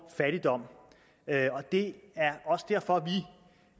fattigdom og det er også derfor